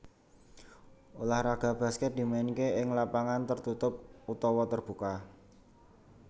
Ulah raga baskèt dimainké ing lapangan tertutup utawa terbuka